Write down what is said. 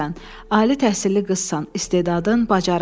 Ali təhsilli qızsan, istedadın, bacarığın var.